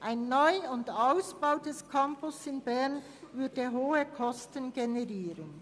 Ein Neu- oder Ausbau des Campus in Bern würde hohe Kosten generieren.